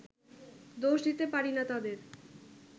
দোষ দিতে পারি না তাঁদের